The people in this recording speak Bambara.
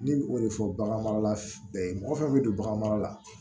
Ne b'o de fɔ bagan mara ye mɔgɔ fɛn bɛ don bagan mara la